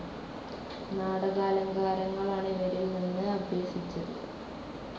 നാടകാലങ്കാരങ്ങളാണ് ഇവരിൽ നിന്ന് അഭ്യസിച്ചത്.